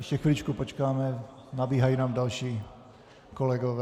Ještě chviličku počkáme, nabíhají nám další kolegové.